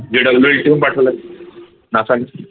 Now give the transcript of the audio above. पाठवलाय NASA नी